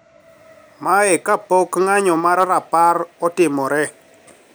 Mae kapok ng`anyo mar rapar otimore